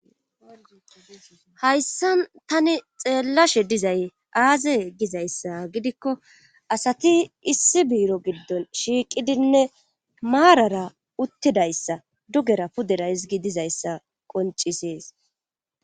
Hayssa tani xeellashe dizay aaze gizayssa gidikko asati issi biiro giddon shiiqidinne maarara uttidayssa dugera pudera hizigi dizayssa qoncisees